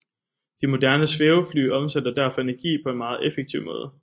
De moderne svævefly omsætter derfor energi på en meget effektiv måde